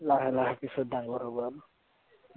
লাহে লাহে পিছত ডাঙৰ হব আৰু।